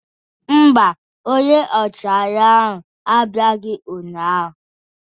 Mba, onye ọchịagha ahụ abịaghị ụnyahụ.